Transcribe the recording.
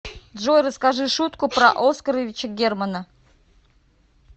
джой расскажи шутку про оскаровича германа